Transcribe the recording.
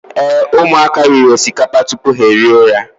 Ee, ụmụaka riri osikapa tupu ha ehi ụra.